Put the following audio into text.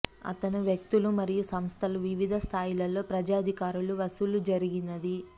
అతను వ్యక్తులు మరియు సంస్థలు వివిధ స్థాయిలలో ప్రజా అధికారులు వసూలు జరిగినది